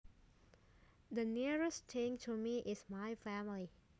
The nearest thing to me is my family